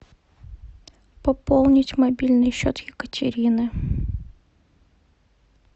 пополнить мобильный счет екатерины